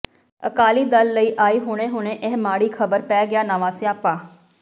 ਅਕਾਲੀ ਦਲ ਲਈ ਆਈ ਹੁਣੇ ਹੁਣੇ ਇਹ ਮਾੜੀ ਖਬਰ ਪੈ ਗਿਆ ਨਵਾਂ ਸਿਆਪਾ